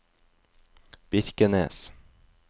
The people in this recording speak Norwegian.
Birkenes